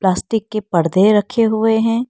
Plastic के पर्दे रखे हुए हैं।